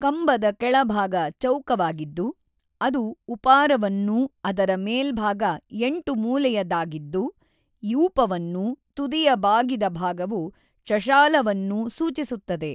ಕಂಬದ ಕೆಳಭಾಗ ಚೌಕವಾಗಿದ್ದು ಅದು ಉಪಾರವನ್ನೂ ಅದರ ಮೇಲ್ಭಾಗ ಎಂಟು ಮೂಲೆಯದಾಗಿದ್ದು ಯೂಪವನ್ನೂ ತುದಿಯ ಬಾಗಿದ ಭಾಗವು ಚಷಾಲವನ್ನೂ ಸೂಚಿಸುತ್ತದೆ.